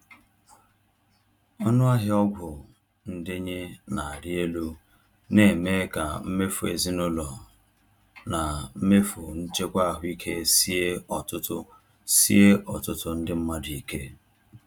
Ọnụahịa ọgwụ ndenye na-arị elu na-eme ka mmefu ezinaụlọ na mmefu nchekwa ahụike sie ọtụtụ sie ọtụtụ ndị mmadụ ike.